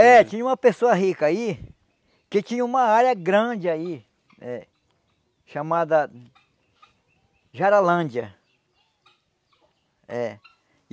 É, tinha uma pessoa rica aí, que tinha uma área grande aí, eh chamada Jaralândia. É